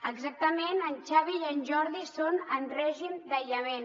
exactament en xavi i en jordi són en règim d’aïllament